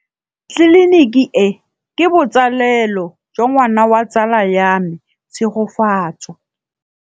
Tleliniki e, ke botsalêlô jwa ngwana wa tsala ya me Tshegofatso.